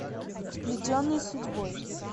сплетенные судьбой